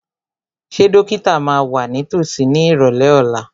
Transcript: Ṣé dókítà máa wà ní tòsí ní ìrọ̀lẹ́ ọ̀la?